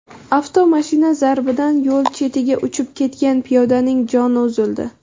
Avtomashina zarbidan yo‘l chetiga uchib ketgan piyodaning joni uzildi.